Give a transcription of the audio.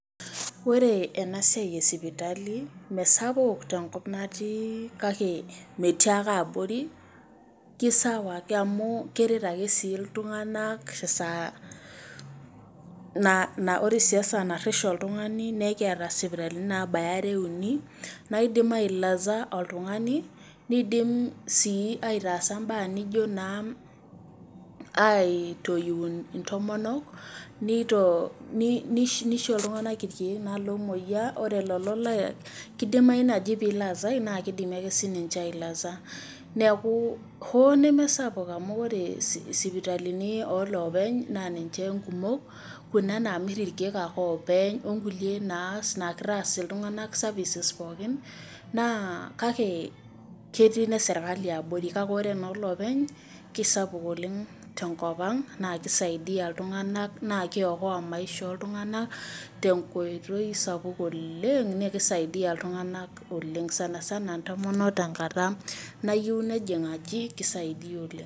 Ore ore enaa siai e sipitali mesapuk tenkop natii kake metii ake abori leisawa ake amu keret ake iltuganak tesaa, ore sii esaa narish oltugani naa ekiata isipitalini naabaya are ,uni naidim ailaza oltugani neidim sii aitaasa imbaa naijio naa, aitoiu intomonok nishoo iltuganak ilkieek naa loomooyia ore lelolaa kidimayu naaji pee ilazae naa keidimi ake sii ninche ailaza. Neeku hoo nemesapuk amu ore sipitalini ooloopeny naa niche nkumok Kuna naamir ilkiek ake oopeny ookulie naa kitaas iltunganak services pookin naa kake ketii ine serikali abori kake ore noo loopeny keisapuk oleng tenkop ang naa keisiadia iltunganak naa keiokoa maisha ooltunganak tenkoitoi sapuk oleng naa keisaidia iltunganak oleng sana sana intomonok tenkata nayieu nejing aji Keisaidia oleng.